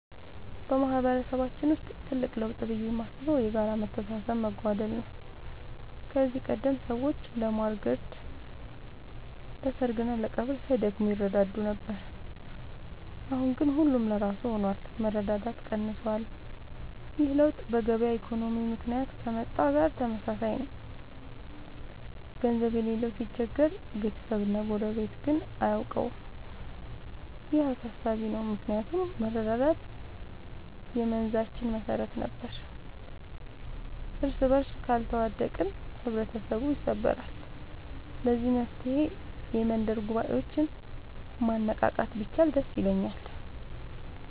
በማህበረሰባችን ውስጥ ትልቅ ለውጥ ብዬ የማስበው የጋራ መተሳሰብ መጓደል ነው። ከዚህ ቀደም ሰዎች ለማር ግርድ፣ ለሰርግና ለቀብር ሳይደክሙ ይረዳዱ ነበር። አሁን ግን ሁሉም ለራሱ ሆኗል፤ መረዳዳት ቀንሷል። ይህ ለውጥ በገበያ ኢኮኖሚ ምክንያት ከመጣ ጋር ተመሳሳይ ነው፤ ገንዘብ የሌለው ሲቸገር ቤተሰብና ጎረቤት ግን አያውቀውም። ይህ አሳሳቢ ነው ምክንያቱም መረዳዳት የመንዛችን መሰረት ነበር። እርስበርስ ካልተዋደቅን ህብረተሰቡ ይሰበራል። ለዚህ መፍትሔ የመንደር ጉባኤዎችን ማነቃቃት ቢቻል ደስ ይለኛል።